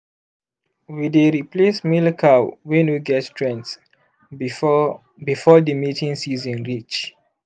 we dey replace male cow wey no get strenght before before the mating seeson reach